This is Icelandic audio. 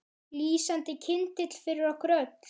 Lýsandi kyndill fyrir okkur öll.